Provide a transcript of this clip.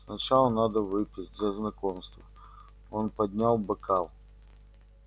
сначала надо выпить за знакомство он поднял бокал